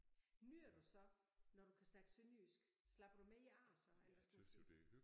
Nyder du så når du kan snakke sønderjysk slapper du mere af så eller hvad skal man sige?